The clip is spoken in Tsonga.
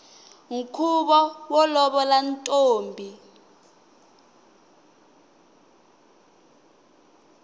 nkhuvo wo lovola ntombi